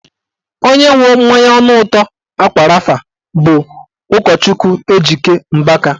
Onye nwe mmanya ọnụ ụtọ ákwà rafa bụ ụkọchukwu Ejike Mbaka